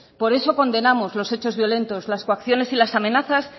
por eso condenamos los hechos violentos las actuaciones y las amenazas